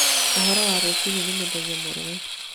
ũhoro wa rũcinĩ ni mũthenya mwega